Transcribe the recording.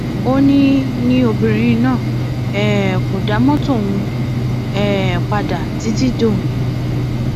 ó ní ní obìnrin náà um kò dá mọtò ọhún um padà títí dòní